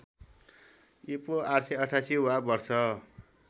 ईपू ८८८ वा वर्ष